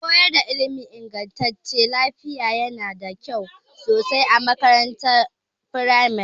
Koyar da ilmin inganta lafiya yana da kyau sosai a makarantar firamare.